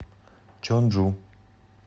чонджу